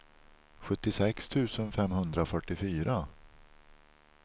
sjuttiosex tusen femhundrafyrtiofyra